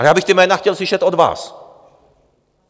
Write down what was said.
Ale já bych ta jména chtěl slyšet od vás.